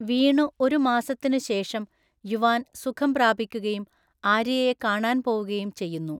വീണു ഒരു മാസത്തിനു ശേഷം, യുവാൻ സുഖം പ്രാപിക്കുകയും ആര്യയെ കാണാൻ പോവുകയും ചെയ്യുന്നു.